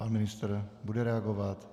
Pan ministr bude reagovat?